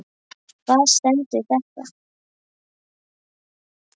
Hvar stendur þetta?